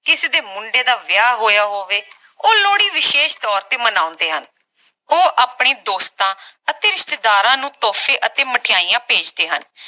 ਕਿਸੇ ਦੇ ਮੁੰਡੇ ਦਾ ਵਿਆਹ ਹੋਇਆ ਹੋਵੇ, ਉਹ ਲੋਹੜੀ ਵਿਸ਼ੇਸ਼ ਤੋਰ ਤੇ ਮਨਾਉਂਦੇ ਹਨ ਉਹ ਆਪਣੇ ਦੋਸਤਾਂ ਅਤੇ ਰਿਸ਼ਤੇਦਾਰਾਂ ਨੂੰ ਤੋਹਫੇ ਅਤੇ ਮਠਿਆਈਆਂ ਭੇਜਦੇ ਹਨ